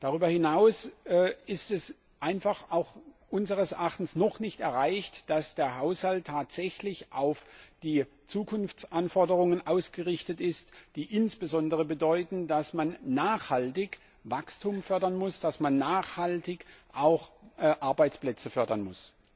Darüber hinaus ist es einfach auch unseres Erachtens noch nicht erreicht, dass der Haushalt tatsächlich auf die Zukunftsanforderungen ausgerichtet ist, die insbesondere bedeuten, dass man nachhaltig Wachstum fördern muss, dass man nachhaltig auch Arbeitsplätze fördern muss.